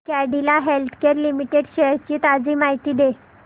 Cadila healthcare limited shares ची ताजी माहिती दे